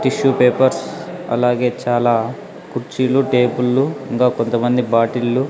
Tissue papers అలాగే చాలా కుర్చీలు టేబుల్లు ఇంకా కొంతమంది బాటిళ్లు .